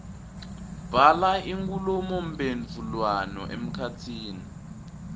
bhala inkhulumomphendvulwano emkhatsini